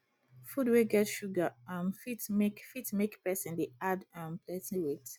food wey get sugar um fit make fit make person dey add um plenty weight